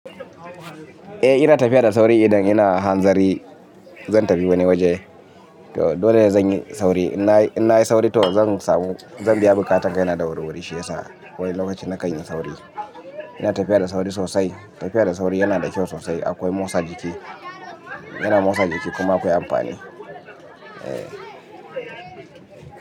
Eh ina tafiya da sauri idan ina hanzari zan tafi wani waje. To dole zan yi sauri. In nayi sauri to zan samu, zan biya buƙatan kaina da wuri-wuri shi yasa wani lokacin na kan yi sauri. Ina tafiya da sauri sosai. Tafiya da sauri yana da kyau sosai akwai motsa jiki, yana motsa jiki kuma akwai amfani. Eh.